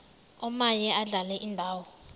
omaye adlale indawo